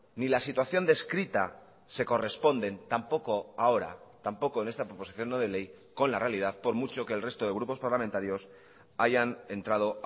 ni la situación descrita se corresponden tampoco ahora tampoco en esta proposición no de ley con la realidad por mucho que el resto de grupos parlamentarios hayan entrado